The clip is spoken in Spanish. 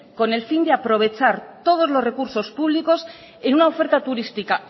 con el fin de aprovechar todos los recursos públicos en una oferta turística